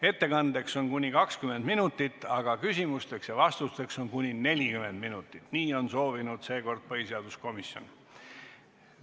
Ettekandeks on aega kuni 20 minutit, küsimusteks ja vastusteks on aega kuni 40 minutit, nii on soovinud seekord põhiseaduskomisjon.